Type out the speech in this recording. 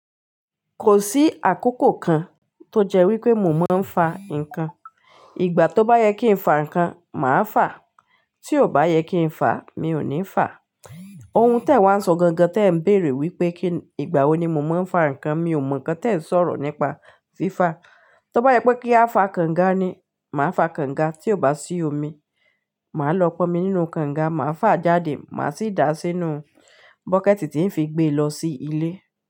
Kò sí àkókò kan tó jẹ́ wí pé mò ń máa ń fa ǹkan. Ìgbà tó bá yẹ kí n fa ǹkan, màá fáa, tí ò bá yẹ kí n fa, mi ò ní fáa. Oun tẹ wa ń sọ gangan tẹ ń bèèrè wípé kí ìgbà wo ni mò ń máa ń fa ǹkan, mi ò mọ ǹkan tẹ ń sọ̀rọ̀ nípa fí fa. Tó bá yẹ pé kí a fa kànga ni, màá fa kànga, tí ò bá sí omi, màá lọ pọnmi nínú kànga, màá fà á jáde, màá sì dà á sínú bọ́kẹ̀ẹ̀tì tí ń fi gbé e lọ sí ilé.